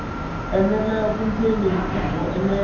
enela vundzeni i byo enela